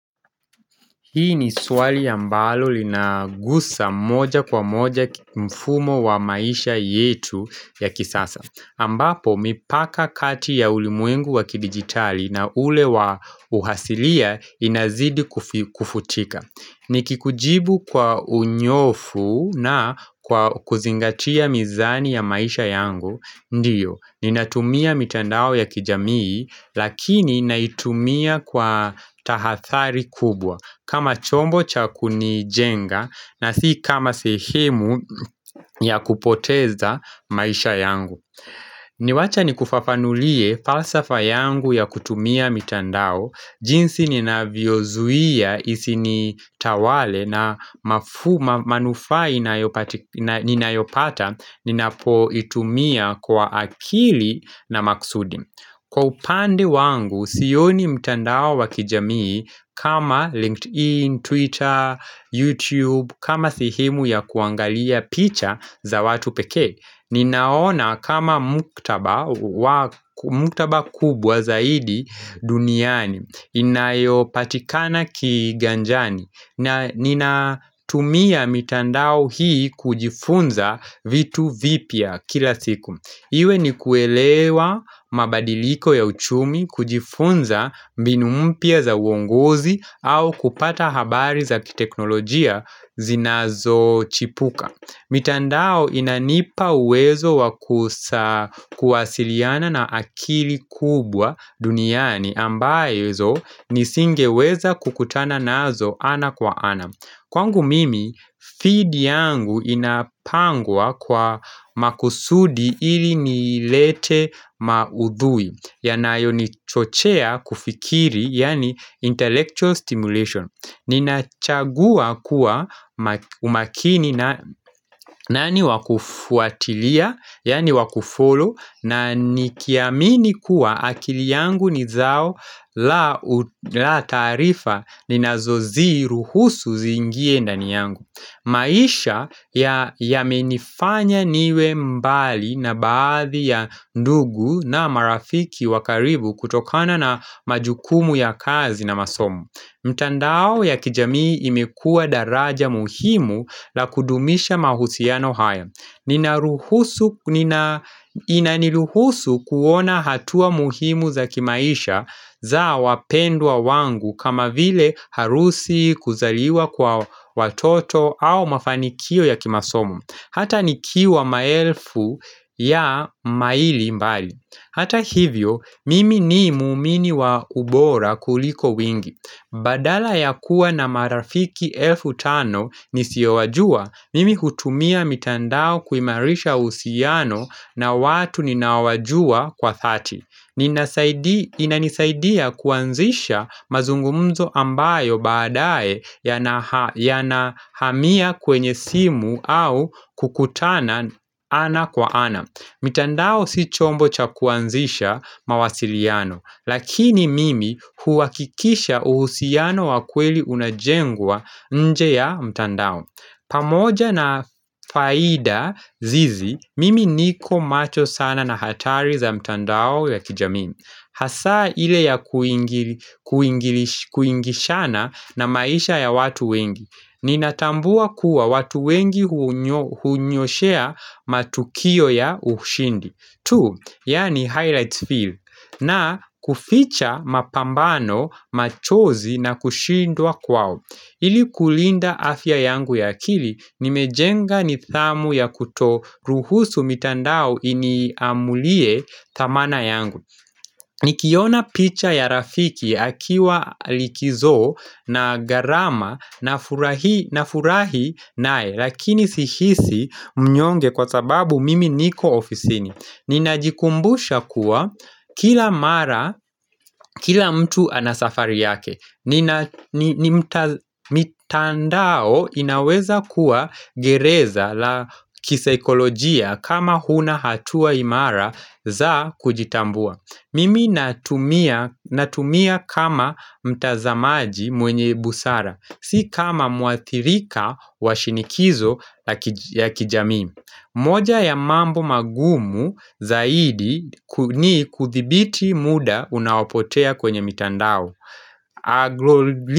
Hii ni swali ambalo linagusa moja kwa moja mfumo wa maisha yetu ya kisasa. Ambapo, mipaka kati ya ulimwengu wa kidigitali na ule wa uasilia inazidi kufutika. Ni kikujibu kwa unyofu na kwa kuzingatia mizani ya maisha yangu. Ndiyo, ni natumia mitandao ya kijamii, lakini naitumia kwa tahadhari kubwa. Kama chombo chakuni jenga na si kama sehemu ya kupoteza maisha yangu Niwacha ni kufafanulie falsafa yangu ya kutumia mitandao jinsi nina vyozuia isi ni tawale na manufaa ninayopata Ninapo itumia kwa akili na makusudi Kwa upande wangu, sioni mtandao wakijamii kama LinkedIn, Twitter, YouTube, kama sehemu ya kuangalia picha za watu peke. Ninaona kama maktaba kubwa zaidi duniani, inayopatikana kiganjani. Na nina tumia mitandao hii kujifunza vitu vipya kila siku. Iwe ni kuelewa mabadiliko ya uchumi kujifunza mbinumpya za uongozi au kupata habari za kiteknolojia zinazo chipuka. Mitandao inanipa uwezo kuwasiliana na akili kubwa duniani ambazo nisinge weza kukutana nazo ana kwa ana. Kwangu mimi, field yangu inapangwa kwa makusudi ili nilete maudhui, ya nayo nichochea kufikiri, yani intellectual stimulation. Ninachagua kuwa umakini na nani wakufuatilia, yani wakufollow, na nikiamini kuwa akili yangu ni zao la taarifa ni nazozi ruhusu ziingie ndani yangu maisha ya menifanya niwe mbali na baadhi ya ndugu na marafiki wakaribu kutokana na majukumu ya kazi na masomo mtandao ya kijamii imekua daraja muhimu la kudumisha mahusiano hayo Inaniruhusu kuona hatua muhimu za kimaisha za wapendwa wangu kama vile harusi kuzaliwa kwa watoto au mafanikio ya kimasomo Hata nikiwa maelfu ya maili mbali Hata hivyo mimi ni muumini wa ubora kuliko wingi Badala ya kuwa na marafiki elfu tano nisiowajua, mimi hutumia mitandao kuimarisha uhusiano na watu ninaowajua kwa dhati. Inanisaidia kuanzisha mazungumzo ambayo baadaye yanahamia kwenye simu au kukutana ana kwa ana. Mitandao si chombo chakuanzisha mawasiliano, lakini mimi huhakikisha uhusiano wakweli unajengwa nje ya mtandao. Pamoja na faida hizi, mimi niko macho sana na hatari za mitandao ya kijamii. Hasaa ile ya kuingishana na maisha ya watu wengi Ninatambua kuwa watu wengi hunyoshea matukio ya ushindi tu, yani highlight field na kuficha mapambano machozi na kushindwa kwao ili kulinda afya yangu ya akili Nimejenga ni dhamu ya kuto ruhusu mitandao iniamulie dhamana yangu Nikiona picha ya rafiki akiwa likizo na gharama na furahi nae lakini sihisi mnyonge kwa sababu mimi niko ofisini Ninajikumbusha kuwa kila mara kila mtu anasafari yake mitandao inaweza kuwa gereza la kisaikolojia kama huna hatua imara za kujitambua Mimi natumia kama mtazamaji mwenye busara, si kama muathirika wa shinikizo ya kijamii moja ya mambo magumu zaidi ni kuthibiti muda unaopotea kwenye mitandao.